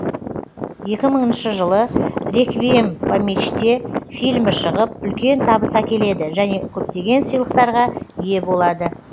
екі мыңыншы жылы реквием по мечте фильмі шығып үлкен табыс әкеледі және көптеген сыйлықтарға ие болады